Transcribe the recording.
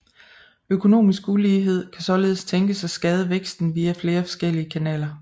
Økonomisk ulighed kan således tænkes at skade væksten via flere forskellige kanaler